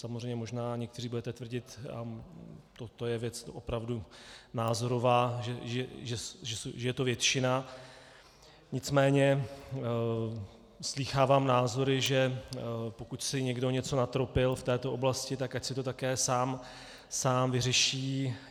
Samozřejmě možná někteří budete tvrdit, a toto je věc opravdu názorová, že je to většina, nicméně slýchávám názory, že pokud si někdo něco natropil v této oblasti, tak ať si to také sám vyřeší.